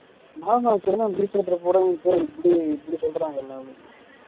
இப்படி இப்படி சொல்றாங்க எல்லாருமே